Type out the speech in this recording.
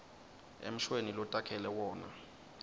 emshweni lotakhele wona